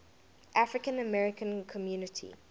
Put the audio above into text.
african american community